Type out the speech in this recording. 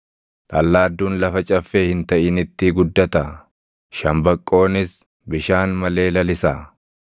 Dhallaadduun lafa caffee hin taʼinitti guddataa? Shambaqqoonis bishaan malee lalisaa?